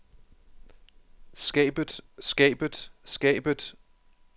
skabet skabet skabet